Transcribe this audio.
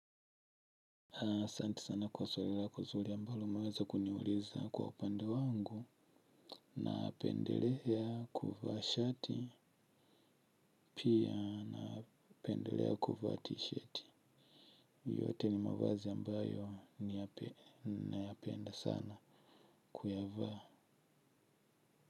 Asante sana kwa swali lako zuri ambalo umeweza kuniuliza kwa upande wangu napendelea kuvaa shati pia napendelea kuvaa t-shirt yote ni mavazi ambayo nayapenda sana kuyavaa.